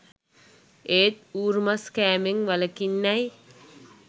ඒත් ඌරු මස් කෑමෙන් වළකින්නැ යි